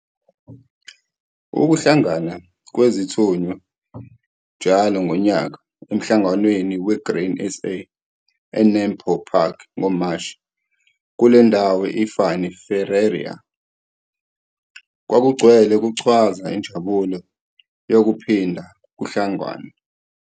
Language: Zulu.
Ukuhlangana kwezithunywa njalo ngonyaka eMhlanganweni weGrain SA eNAMPO Park ngoMashi. Kule ndawo i-Fanie Ferreira kwakugcwele kuchwaza injabulo yokuphinda kuhlanganwe.